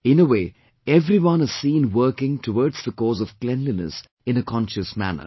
In a way, everyone is seen working towards the cause of cleanliness in a conscious manner